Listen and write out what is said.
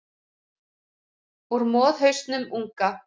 Úr moðhausnum unga.